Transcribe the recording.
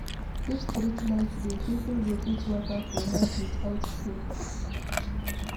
If streetlight dey, people go fit waka for night without fear.